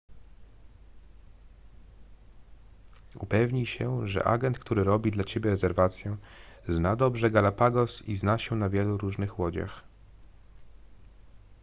upewnij się że agent który robi dla ciebie rezerwację zna dobrze galapagos i zna się na wielu różnych łodziach